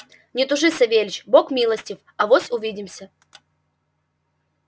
не тужи савельич бог милостив авось увидимся